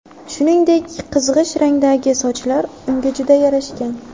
Shuningdek, qizg‘ish rangdagi sochlar unga juda yarashgan.